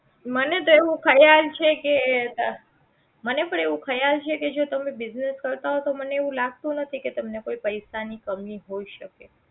મને તો એવું ખ્યાલ છે કે તા મને પણ એવું ખ્યાલ છે કે જો તમે business કરતા હોય તો મને એવું લાગતું નથી કે તમને કોઈ પૈસા ની કમી હોઈ શકે